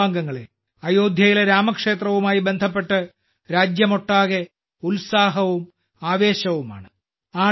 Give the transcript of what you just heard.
എന്റെ കുടുംബാംഗങ്ങളെ അയോധ്യയിലെ രാമക്ഷേത്രവുമായി ബന്ധപ്പെട്ട് രാജ്യമൊട്ടാകെ ഉത്സാഹവും ആവേശവുമാണ്